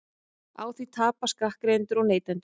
Á því tapa skattgreiðendur og neytendur